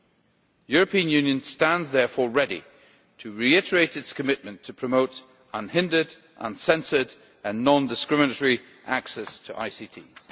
The European Union stands, therefore, ready to reiterate its commitment to promote unhindered, uncensored and non discriminatory access to ICTs.